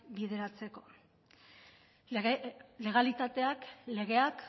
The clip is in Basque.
bideratzeko legalitateak legeak